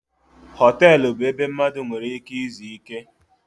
Họtelụ bụ ebe mmadụ nwere ike izu ike.